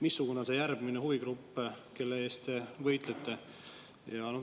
Missugune on see järgmine huvigrupp, kelle eest te võitlete?